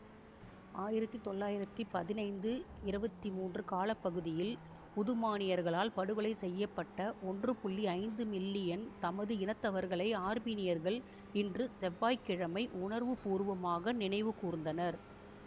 ஆயிரத்தி தொள்ளாயிரத்தி பதினைந்து இருபத்தி மூன்று கால பகுதியில் உதுமானியர்களால் படுகொலை செய்ய பட்ட ஒன்று ஐந்து மில்லியன் தமது இனத்தவர்களை ஆர்மீனியர்கள் இன்று செவ்வாய் கிழமை உணர்வு பூர்வமாக நினைவு கூர்ந்தனர்